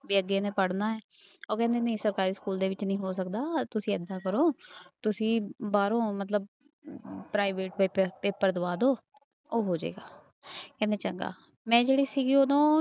ਵੀ ਅੱਗੇ ਇਹਨੇ ਪੜ੍ਹਨਾ ਹੈ ਉਹ ਕਹਿੰਦੇ ਨਹੀਂ ਸਰਕਾਰੀ ਸਕੂਲ ਦੇ ਵਿੱਚ ਨੀ ਹੋ ਸਕਦਾ ਤੁਸੀਂ ਏਦਾਂ ਕਰੋ ਤੁਸੀਂ ਬਾਹਰੋਂ ਮਤਲਬ private ਕਿਤੇ ਪੇਪਰ ਦਵਾ ਦਓ ਉਹ ਹੋ ਜਾਏਗਾ ਕਹਿੰਦੇ ਚੰਗਾ, ਮੈਂ ਜਿਹੜੀ ਸੀਗੀ ਉਦੋਂ